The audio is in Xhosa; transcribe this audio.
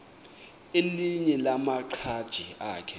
elinye lamaqhaji akhe